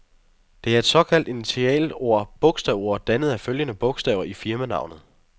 Det er et såkaldt initialord, bogstavord, dannet af følgende bogstaver i firmanavnet.